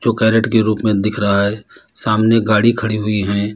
वो कैरेट के रूप में दिख रहा है सामने गाड़ी खड़ी हुई हैं।